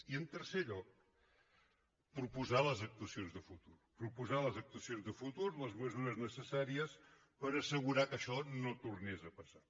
i en tercer lloc proposar les actuacions de futur proposar les actuacions de futur les mesures necessàries per assegurar que això no tornés a passar